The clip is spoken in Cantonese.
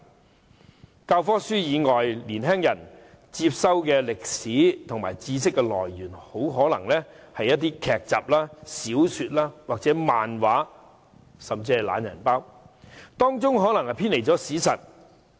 除了教科書以外，年青人接收歷史知識的來源很可能是一些劇集、小說或漫畫，甚至是"懶人包"，當中的內容可能偏離了史實。